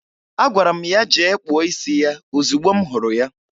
Agwara m ya jee kpụọ isi ya ozigbo m hụrụ ya.